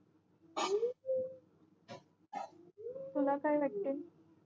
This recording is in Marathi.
तू ला काय वाटते